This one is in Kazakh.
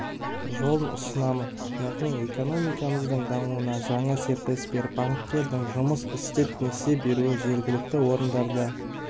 жолын ұсынамын яғни экономикамыздың дамуына жаңа серпіліс беріп банктердің жұмыс істеп несие беруі жергілікті орындарда